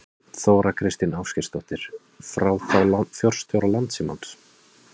Þóra Kristín Ásgeirsdóttir: Frá þá forstjóra Landssímans?